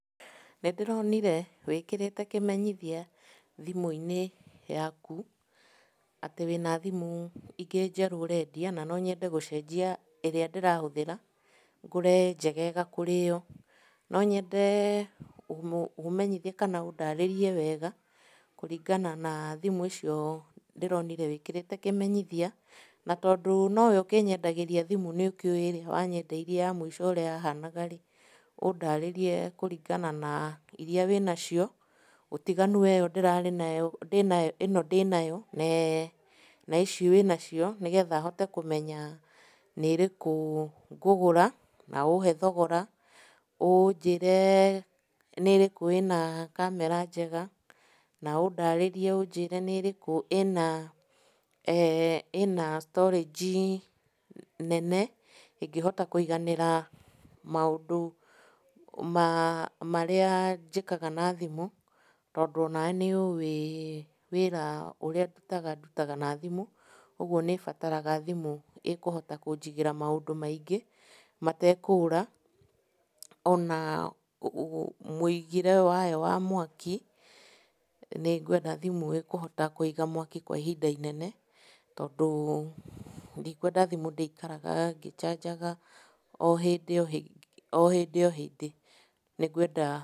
Nĩ ndĩronire wĩkĩrĩte kĩmenyithia thimũ-inĩ yaku, atĩ wĩna thĩmũ ingĩ njerũ ũrendia, na nonyende gũcenjia ĩrĩa ndĩrahũthĩra, ngũre njegega kũrĩ ĩyo. Nonyende mũmenyithie kana mũndarĩrie wega, kũringana na thimũ icio ndĩronire wĩkĩrĩte kĩmenyithia, na tondũ nowe ũkĩnyendagĩria thimo nĩũkĩũĩ nĩwe, wanyendeirie ya mũico ũrĩa yahanaga-rĩ, ũndarĩrie kũringana na iria wĩnacio, ũtiganu wa ĩyo ndĩnayo, ĩno ndĩnayo na ici wĩnacio, nĩgetha hote kũmenya nĩ ĩrĩkũ ngũgũra, na ũhe thogora, ũnjĩre nĩ ĩrĩkũ ĩna kamera njega, na ũndarĩrie ũnjĩre nĩ ĩrĩkũ ĩna, ĩna storage nene, ĩngĩhota kũiganĩra maũndũ marĩa njĩkaga na thimũ, tondũ onawe nĩ ũĩ wĩra ũrĩa ndutaga, ndutaga na thimũ. Ũguo nĩ bataraga thimũ ĩkũhota kũnjigĩra maũndũ maingĩ metekũra, ona mũigĩre wayo wa mwaki, nĩ ngwenda thimũ ĩkũhota kũiga mwaki kwa ihinda inene, tondũ, ndikwenda thimũ ndĩikaraga ngĩcanjaga, ohĩndĩ ohĩndĩ. Nĩngwenda